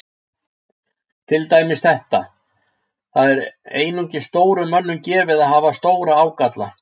Til dæmis þetta: Það er einungis stórum mönnum gefið að hafa stóra ágalla.